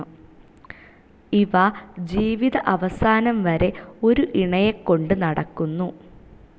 ഇവ ജീവിത അവസാനം വരേ ഒരു ഇണയെ കൊണ്ട് നടക്കുന്നു.